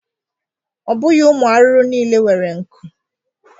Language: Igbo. Ọ bụghi ụmụ arụrụ niile were nku.